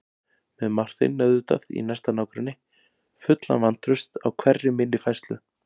Með Martein auðvitað í næsta nágrenni, fullan vantrausts á hverri minni færslu.